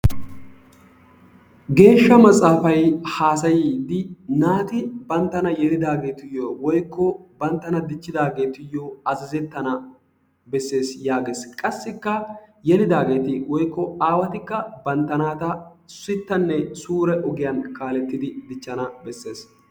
Geeshsha matsafay haasayiidi naati banttana yeliidaagetuyo woikko banttana dichchidaageetuyoo azazettana besees yaagees. Qassikka yelidaageeti aawatikka bantta naata sittanne suure ogiyan kaalettidi dichchana bessees.